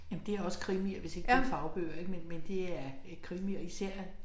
Jamen det også krimier hvis ikke det fagbøger ik men men det er øh krimier især